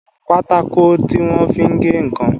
Pátákó tí wọ́n fi ń gé ǹkan